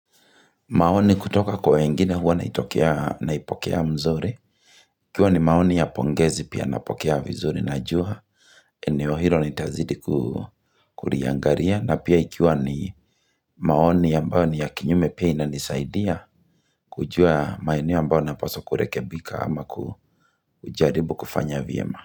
Maoni kutoka kwa wengine huwa naitokea naipokea mzuri. Ikiwa ni maoni ya pongezi pia napokea vizuri najua. Eneo hilo nitazidi kuliangalia. Na pia ikiwa ni maoni ambayo ni ya kinyume pia inanisaidia. Kujua maeneo ambayo napaswa kurekebika ama kujaribu kufanya vyema.